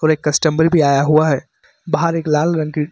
और एक कस्टमर भी आया हुआ है बाहर एक लाल रंग की --